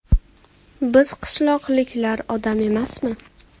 Biz qishloqliklar odam emasmi?